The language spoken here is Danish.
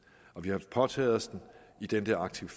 og vi har påtaget os den i den der arctic